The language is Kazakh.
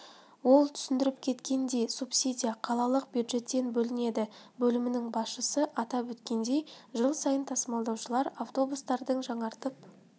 ол түсіндіріп кеткендей субсидия қалалық бюджеттен бөлінеді бөлімінің басшысы атап өткендей жыл сайын тасымалдаушылар автобустардың жаңартып